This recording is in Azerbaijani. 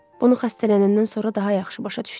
Bunu xəstələnəndən sonra daha yaxşı başa düşdüm.